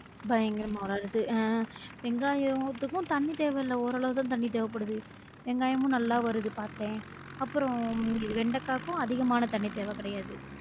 பயங்கரமா வருது அஹ் வெங்காயத்துக்கும் தண்ணி தேவை இல்ல ஓரளவுதா தண்ணி தேவைப்படுது வெங்காயமும் நல்லா வருது பார்த்தேன் அப்ரோம் வெண்டக்காக்கும், அதிகமான தண்ணி தேவைக் கிடையாது